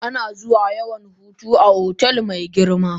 Ana zuwa yawan hutu a otel mai girma.